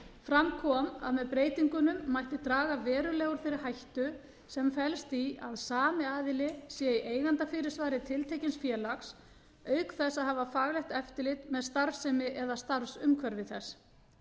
fram kom að með breytingunum mætti draga verulega úr þeirri hættu sem felst í að sami aðili sé í eigandafyrirsvari tiltekins félags auk þess að hafa faglegt eftirlit með starfsemi eða starfsumhverfi þess